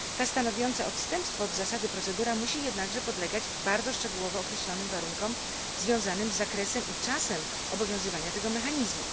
Ta stanowiąca odstępstwo od zasady procedura musi jednakże podlegać bardzo szczegółowo określonym warunkom, związanym z zakresem i czasem obowiązywania tego mechanizmu.